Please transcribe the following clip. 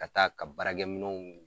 Ka taa ka baara minɛw